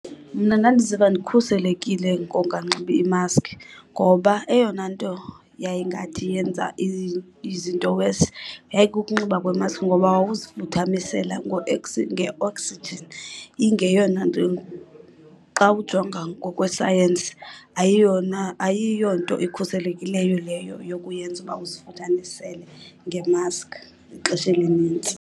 Mna ndandiziva ndikhuselekile ngonganxibi imaskhi ngoba eyona nto yayingathi yenza izinto worse yayikukunxiba kwemaskhi. Ngoba wawuzifuthamisela nge-oxygen ingeyona nto , xa ujonga ngokwesayensi ayiyonto ikhuselekileyo leyo yokuyenza uba uzifuthanisele ngemaskhi ixesha elinintsi.